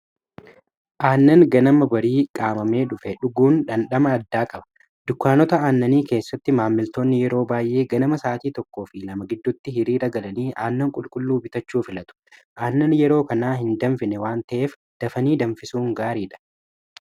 aannan ganama barii qaamamee dhufe dhuguun dhandhama addaa qaba dukaanota aannanii keessatti maammiltoonni yeroo baay'ee ganama isaatii tokko fi 2ama giddutti hirii dhagalanii aannan qulqulluu bitachuu filatu aannan yeroo kanaa hin danfine waan ta'eef dafanii danfisuun gaarii dha